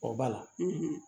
O b'a la